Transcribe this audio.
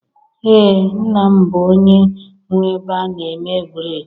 Ee, nna m bụ onye nwe ebe a na-eme bred